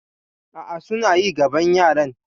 A'a, suna yi gabon yaran.